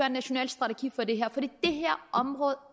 en national strategi for det her område